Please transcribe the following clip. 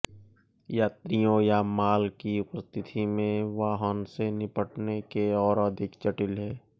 यात्रियों या माल की उपस्थिति में वाहन से निपटने के और अधिक जटिल है